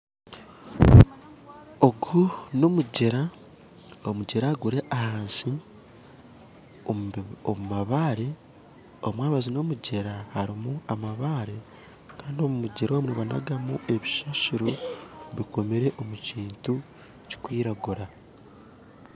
Ogu n'omugyera, omugyera guri ahansi omumabare, omumabaju gomugyera harimu amabare kandi omumugyeromu nibanagamu ebisasiro bikomire omukintu kikwiragura.